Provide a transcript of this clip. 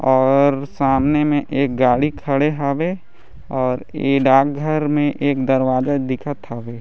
और सामने मे एक गाड़ी खड़े हावे और इ डाक घर मे एक दरवाजा दिखत हावे।